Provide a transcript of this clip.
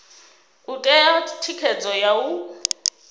u ṋea thikhedzo ya u